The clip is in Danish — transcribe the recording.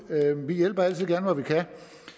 hjælper vi altid gerne hvor vi kan